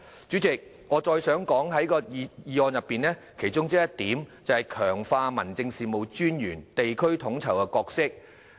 主席，我想再說一說議案的其中一項，就是"強化民政事務專員的地區統籌角色"。